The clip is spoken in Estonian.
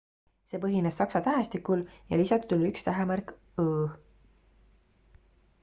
see põhines saksa tähestikul ja lisatud oli üks tähemärk õ/õ